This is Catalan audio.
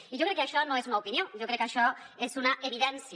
i jo crec que això no és una opinió jo crec que això és una evidència